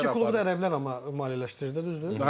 Hər iki klubu da ələ bilər, amma maliyyələşdirir də, düzdür?